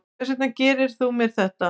Hvers vegna gerðirðu mér þetta?